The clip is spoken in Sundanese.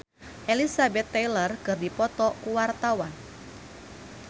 Maudy Ayunda jeung Elizabeth Taylor keur dipoto ku wartawan